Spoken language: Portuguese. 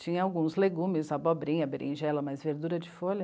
Tinha alguns legumes, abobrinha, berinjela, mas verdura de folha...